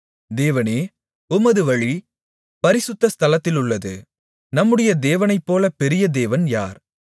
தேவனே உமது வழி பரிசுத்த ஸ்தலத்திலுள்ளது நம்முடைய தேவனைப்போலப் பெரிய தேவன் யார்